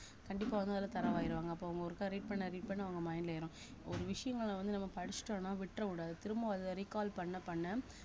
கண்டிப்பா வந்து அதுல thorough ஆயிருவாங்க அப்ப அவங்க ஒருக்கா read பண்ண read பண்ண அவங்க mind ல ஏறும் ஒரு விஷயங்களை வந்து நம்ம படிச்சுட்டோம்ன்னா விட்றக்கூடாது திரும்ப அத recall பண்ண பண்ண